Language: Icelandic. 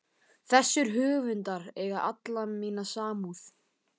Þessir höfundar eiga alla mína samúð.